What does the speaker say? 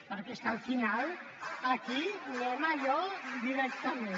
perquè és que al final aquí anem a allò directament